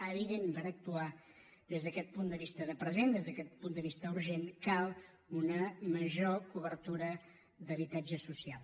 evidentment per actuar des d’aquest punt de vista de present des d’aquest punt de vista urgent cal una major cobertura d’habitatge social